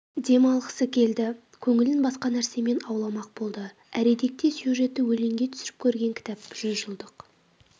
дем алғысы келді көңілін басқа нәрсемен ауламақ болды әредікте сюжетін өлеңге түсіріп көрген кітап жүзжылдық